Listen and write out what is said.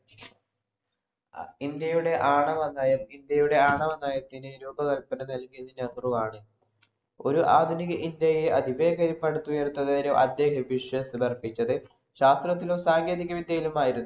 ഇന്ത്യയുടെ ആണവനയം ഇന്ത്യയുടെ ആണവനയത്തിന് രൂപകല്‍പന നൽകിയത് നെഹ്രുവാണ്. ഒരു ആധുനിക ഇന്ത്യയെ അതിവേഗം പടുത്തുയര്‍ത്തുന്നതിന് അദ്ദേഹം വിശ്വാസ്യത അര്‍പ്പിച്ചത് ശാസ്ത്രത്തിലും, സാങ്കേതിക വിദ്യയിലുമായിരുന്നു.